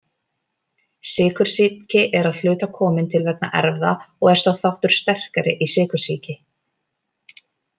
Sykursýki er að hluta komin til vegna erfða og er sá þáttur sterkari í sykursýki.